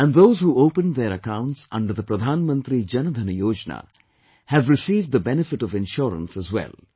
And those who opened their accounts under the Pradhan Mantri Jan DhanYojna, have received the benefit of insurance as well